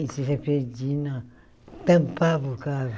E, tampava o carro.